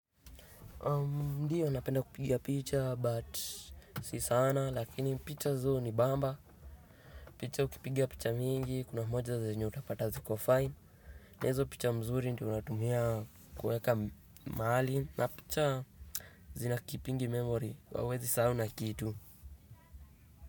Ndiyo napenda kupiga picha but si sana lakini picha zihunibamba. Picha ukipiga picha mingi kuna moja zenye utapata ziko fine na hizo picha mzuri ndio unatumia kuweka mahali na picha zina kipindi memory hauwezi sahau na kitu.